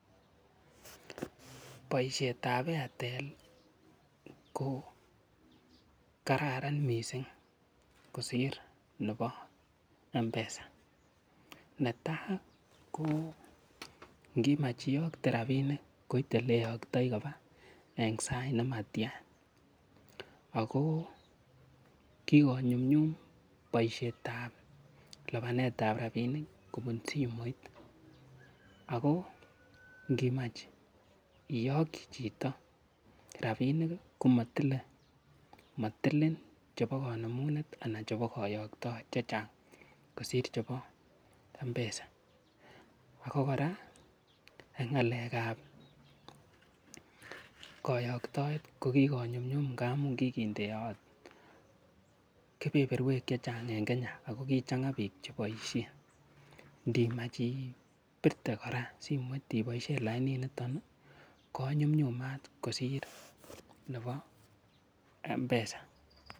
Boishetab Airtel ko kararan mising' kosir nebo mpesa netai ko ngimach iyokte rapinik koite ole iyoktoi koba eng' sait nematya ako kikonyumyum boishetab lipanetab rapinik kobun simoit ako ngimach iyokchi chito rapinik komatile matilin chebo kanemunet anan chebo kayoktoet chechang' kosir chebo mpesa ako kora eng' ng'alekab kayoktoet ko kokikonyumyum ngaamun kikindeyot kepeperwek chechang' eng' Kenya ako kikochang'a biik cheboishe ngimach ibirte kora simoit iboishe lainit niton konyumyumat kosir nebo mpesa